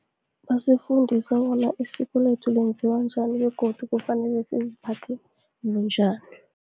Basifundisa bona isikolethu lenziwa njani, begodu kufanele siziphathe bunjani.